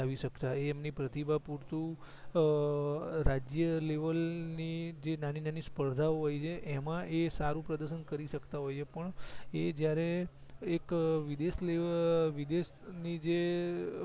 આવી સકતા એ એમની પ્રતિભા પૂરતું અં રાજ્ય લેવલ ની જે નાની નાની સપર્ધા ઓ હોય છે એમાં એ સારું પ્રદશન કરી સકતા હોયછે પણ એ જયારે એક વિદેશ લેવ વિદેશ ની જે